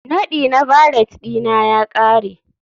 Nadi na valet ɗina ya ƙare